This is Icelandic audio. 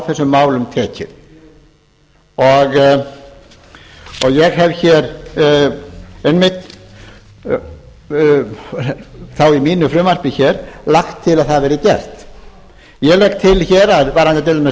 þessum málum tekið ég hef hér einmitt þá í mínu frumvarp hér lagt til að það verði gert ég legg til hér varðandi til dæmis